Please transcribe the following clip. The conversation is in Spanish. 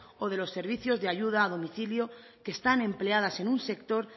o de los servicios de ayuda a domicilio que están empleadas en un sector